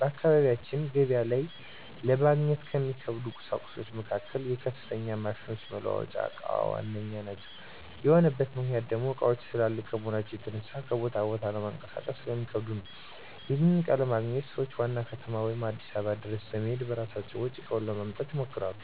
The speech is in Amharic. በአካባቢያችን ገበያ ላይ ለማግኘት ከሚከብዱ ቍሳቁሶች መካከል የከፍተኛ ማሽኖች መለዋወጫ እቃ ዋነኛው ነው። ይህ የሆነበት ምክንያት ደሞ እቃዎቹ ትላልቅ ከመሆናቸው የተነሳ ከቦታ ቦታ ለማንቀሳቀስ ስለሚከብዱ ነው። ይህንንም እቃ ለማግኘት ሰዎች ዋና ከተማ ወይም አዲስ አበባ ድረስ በመሔድ በራሳቸው ወጪ እቃውን ለማምጣት ይሞክራሉ።